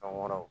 Kan wɛrɛw